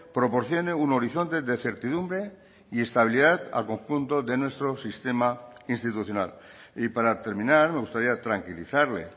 proporcione un horizonte de certidumbre y estabilidad al conjunto de nuestro sistema institucional y para terminar me gustaría tranquilizarle